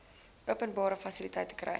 openbare fasiliteite kry